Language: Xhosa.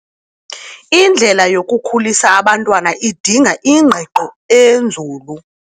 Indlela yokukhulisa abantwana idinga ingqiqo enzulu.